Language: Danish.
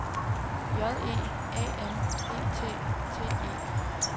J E A N E T T E